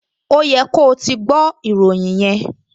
Ó yẹ ko ti gbọ́ ìròyìn yẹn!